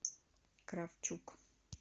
кравчук